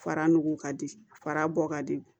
Fara nugu ka di fara bɔ ka di